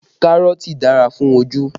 Kárọ̀tì dára fún ojú